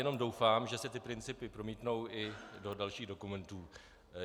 Jenom doufám, že se ty principy promítnou i do dalších dokumentů.